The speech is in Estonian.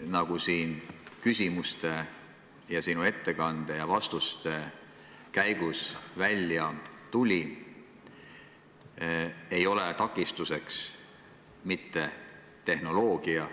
Nagu siin sinu ettekande ja vastuste käigus välja tuli, ei ole takistuseks mitte tehnoloogia,